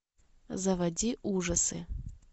заводи ужасы